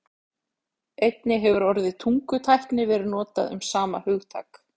Einnig hefur orðið tungutækni verið notað um sama hugtak.